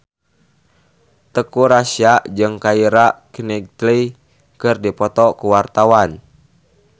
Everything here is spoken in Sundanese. Teuku Rassya jeung Keira Knightley keur dipoto ku wartawan